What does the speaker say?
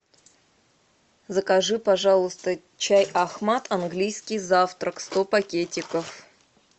закажи пожалуйста чай ахмад английский завтрак сто пакетиков